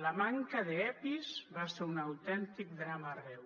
la manca d’epis va ser un autèntic drama arreu